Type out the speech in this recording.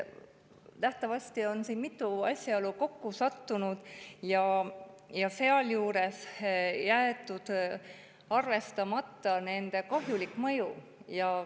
Nähtavasti on siin mitu asjaolu kokku sattunud ja sealjuures on jäetud arvestamata kahjulik mõju.